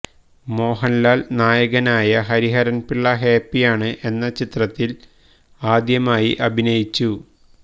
മോഹന്ലാല് നായകനായ ഹരിഹരന്പിള്ള ഹാപ്പിയാണ് എന്ന ചിത്രത്തില് ആദ്യമായി അഭിനയിച്ചു